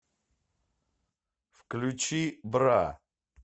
включи бра